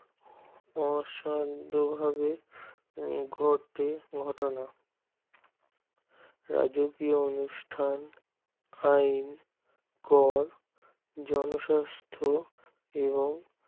অসাদ্ধ ভাবে ঘটে ঘটনা রাজকীয় অনুষ্ঠান ফাইল কর জনস্বাস্থ এবং